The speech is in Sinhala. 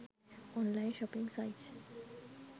online shopping sites